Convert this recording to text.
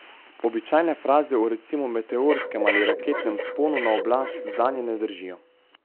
Običajne fraze o recimo meteorskem ali raketnem vzponu na oblast zanje ne držijo.